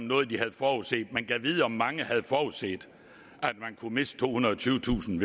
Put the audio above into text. noget de havde forudset men gad vide om mange havde forudset at man kunne miste tohundrede og tyvetusind